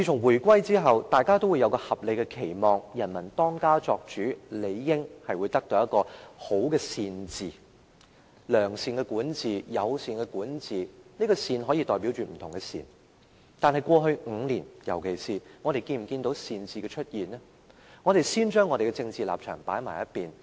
回歸後，大家也會有合理的期望，由人民當家作主，理應得到善治——良善的管治、友善的管治，這個"善"字可以代表不同的善，但過去5年，我們有否看到善治出現呢？